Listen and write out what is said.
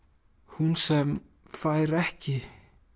hún sem fær ekki